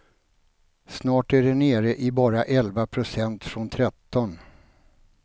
Snart är de nere i bara elva procent, från tretton.